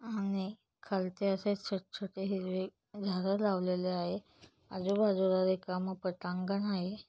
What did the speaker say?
आणि खालचे असे छोटे-छोटे हिरवे झाड लावलेले आहे. आजू बाजूला रिकाम पटांगण आहे.